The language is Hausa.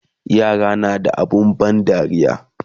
yara na da abun ban dariya